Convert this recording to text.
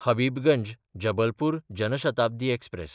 Habibganj-Jabalpur Jan Shatabdi express